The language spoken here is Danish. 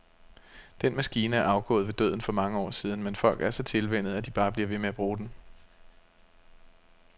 Den maskine er jo afgået ved døden for år siden, men folk er så tilvænnet, at de bare bliver ved med at bruge den.